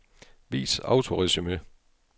Vis autoresumé.